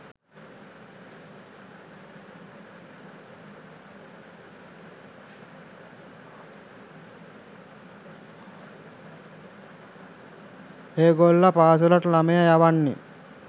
ඒගොල්ල පාසලට ළමය යවන්නේ